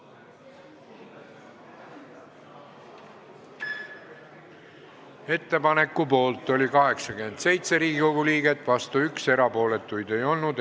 Hääletustulemused Ettepaneku poolt oli 87 Riigikogu liiget, vastuolijaid oli 1, erapooletuid ei olnud.